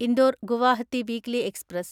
Indore Guwahati weekly express